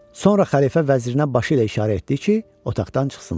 Sonra xəlifə vəzirinə başı ilə işarə etdi ki, otaqdan çıxsınlar.